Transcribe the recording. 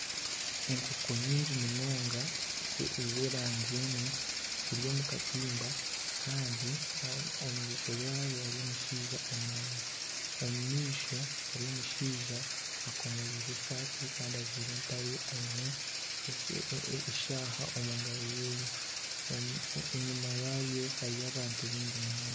Enkoko nyingi munonga z'erangi emwe ziri omu katimba kandi omu maisho gaazo harimu omushaija ainami. Omu maisho hariyo omushaija akomoroire esaati kandi ajwaire empare aine eshaaha omu ngaro ye enyima yabyo hariyo abantu baingi munonga.